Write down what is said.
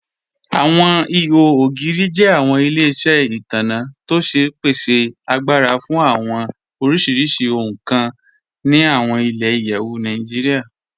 Awọn ìhò ogiri jẹ awọn ilẹ̀-iṣẹ itanna tó ṣe pèsè àgbàrà fún awọn oríṣiríṣì ohun kàn ni awọn ilẹ̀-iyẹ̀wù Nàìjíríà.